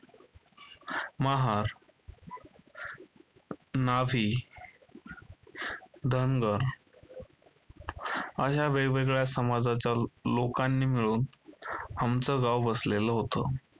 महार, न्हावी, धनगर अश्या वेगवेगळ्या समाजाच्या लोकांनी मिळून आमचं गाव वासलेलं होतं.